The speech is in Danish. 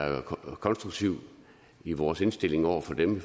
konstruktiv i vores indstilling over for dem